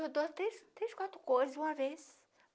Eu dou três, três quatro coisas uma vez.